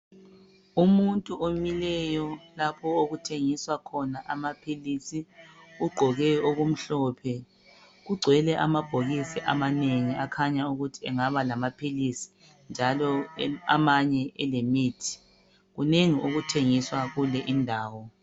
Umuntu omileyo lapho okuthengiswa khona amaphilisi ugqoke okumhlophe. Kugcwele amabhokisi amanengi akhanya ukuthi angaba lamaphilisi lemithi. Kunengi okuthengiswa kule indawo.